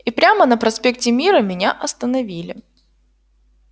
и прямо на проспекте мира меня остановили